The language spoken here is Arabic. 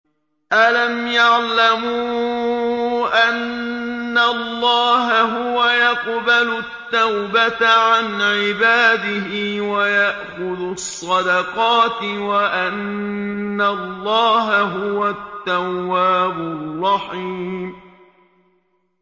أَلَمْ يَعْلَمُوا أَنَّ اللَّهَ هُوَ يَقْبَلُ التَّوْبَةَ عَنْ عِبَادِهِ وَيَأْخُذُ الصَّدَقَاتِ وَأَنَّ اللَّهَ هُوَ التَّوَّابُ الرَّحِيمُ